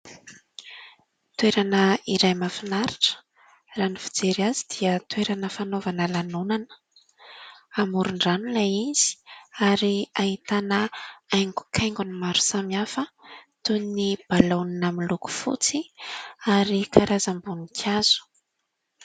Toerana iray mahafinaritra. Raha ny fijery azy dia toerana fanaovana lanonana, amoron-drano ilay izy ary ahitana haingokaingony maro samihafa toy ny balaonina miloko fotsy ary karazam-boninkazo.